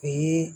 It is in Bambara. U ye